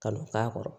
Kalon k'a kɔrɔ